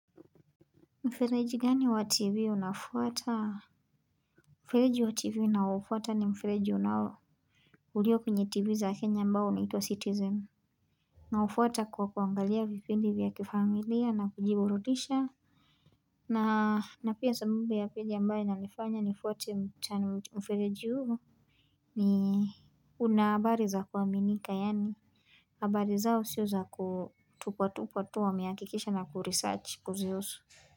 Mfereji gani wa tv unafuata Mfereji wa tv ninaoufuata ni mfereji unao ulio kwenye tv za kenya ambao unaitwa citizen Naufuata kwa kuangalia vipindi vya kifamilia na kujibuduridisha na na pia sababu ya pili ambaye nalifanya nifuate mfereji huo ni una habari za kuaminika yaani habari zao sio za kutupatupatu wamehakikisha na kuresarch kuzihusu.